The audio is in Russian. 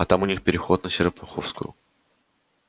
а там у них переход на серпуховскую